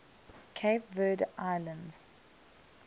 cape verde islands